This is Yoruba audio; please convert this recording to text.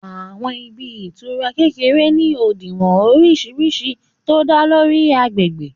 Àwọn ibi ìtura kékeré ni òdiwọ̀n oríṣiríṣi tó dá lórí agbègbè